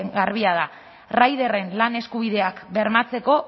garbia da rideren lan eskubideak bermatzeko